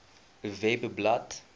webblad